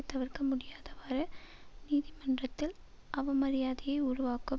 தவிர்க்கமுடியாதவாறு நீதிமன்றத்தில் அவமரியாதையை உருவாக்கும்